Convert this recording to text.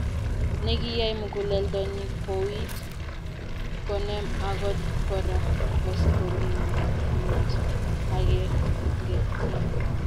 Nekiyai muguleldonyi kouit konem agot Kora koskolingut agenge keny